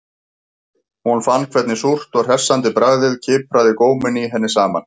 Hún fann hvernig súrt og hressandi bragðið kipraði góminn í henni saman